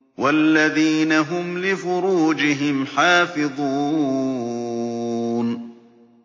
وَالَّذِينَ هُمْ لِفُرُوجِهِمْ حَافِظُونَ